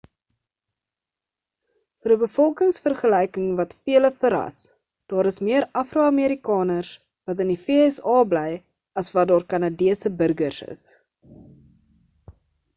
vir 'n bevolkingvergelyking wat vele verras daar is meer afro-amerikaners wat in die vsa bly as wat daar kanadese burgers is